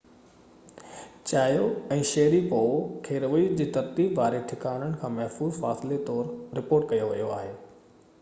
چيايو ۽ شيريپوو کي رويي جي ترتيب واري ٺڪاڻن کان محفوظ فاصلي طور رپورٽ ڪيو ويو آهي